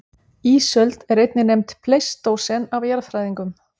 Ísöld er einnig nefnd pleistósen af jarðfræðingum.